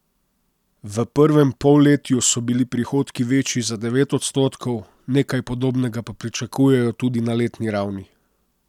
V prvem polletju so bili prihodki večji za devet odstotkov, nekaj podobnega pa pričakujejo tudi na letni ravni.